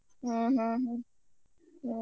ಹ್ಮ್ ಹ್ಮ್ ಹ್ಮ್ ಹ್ಮ್.